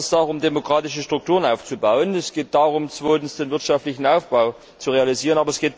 Es geht erstens darum, demokratische Strukturen aufzubauen. Zweitens geht es darum, den wirtschaftlichen Aufbau zu realisieren.